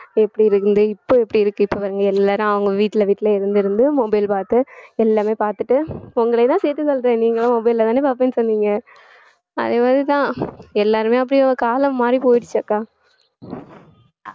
எப்படி இருந்தது இப்ப எப்படி இருக்கு இப்ப பாருங்க எல்லாரும் அவங்க வீட்டுல வீட்டுல இருந்திருந்து mobile பார்த்து எல்லாமே பாத்துட்டு உங்களையும்தான் சேர்த்து சொல்றேன் நீங்களும் mobile லதானே பாப்பேன்னு சொன்னீங்க அதே மாதிரிதான் எல்லாருமே அப்படிதான் காலம் மாறிப் போயிடுச்சு அக்கா